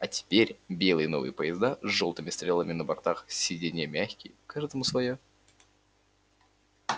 а теперь белые новые поезда с жёлтыми стрелами на бортах сиденья мягкие каждому своё